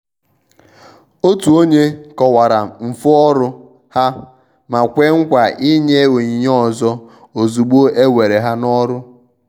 òtù ònye kọ̀wara mfu ọrụ ha ma kwè nkwa ịnye onyinye ọzọ ozúgbo e were ha n' ọrụ.